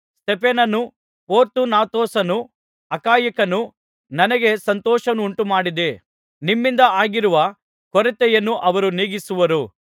ಸ್ತೆಫನನೂ ಪೊರ್ತುನಾತೊಸನೂ ಅಖಾಯಿಕನೂ ಬಂದದ್ದು ನನಗೆ ಸಂತೋಷವನ್ನುಂಟುಮಾಡಿದೆ ನಿಮ್ಮಿಂದ ಆಗಿರುವ ಕೊರತೆಯನ್ನು ಅವರು ನೀಗಿಸಿರುವರು